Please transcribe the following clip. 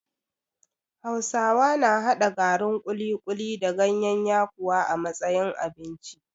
Hausawa na haɗa garin kuli-kuli da gayen yakuwa a matsayin abinci